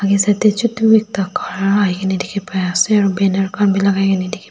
yate side te chotu ekta khara hoikena dikhi pai ase aru banner khan bi lagai kena dikhi--